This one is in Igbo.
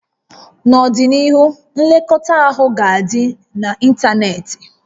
N'ọdịnihu, nlekọta ahụ ga-adị n'ịntanetị